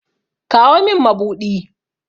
Kawo min mabuɗi!